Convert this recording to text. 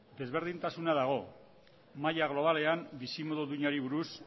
desberdintasuna dago maila globalean bizimodu duinari buruz